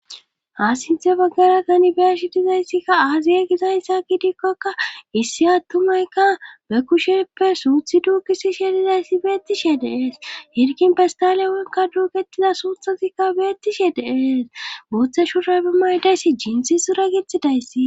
Aasinthe baggara ganibeshi dizayssikka aaziye gizayssa gidikkokka issi attumaykka be kusheppe suuthi duukisi she dizayssi beettishe dees hirkin bestale wonka duuketiza suuthasikka beettishe dees booththe shuray be maydayssi jiinsi sura gitidayssi